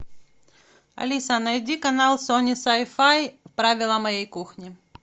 алиса найди канал сони сай фай правила моей кухни